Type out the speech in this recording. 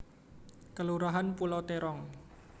Kelurahan Pulau Terong